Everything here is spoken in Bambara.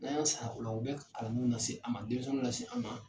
N'an y'a sara u la, u bɛ kalan nase an ma denmisɛnw lase an ma